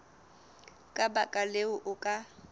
ka baka leo o ka